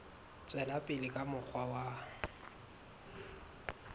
tswela pele ka mokgwa wa